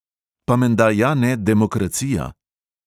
Pa menda ja ne demokracija?